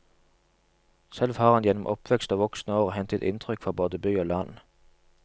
Selv har han gjennom oppvekst og voksne år hentet inntrykk fra både by og land.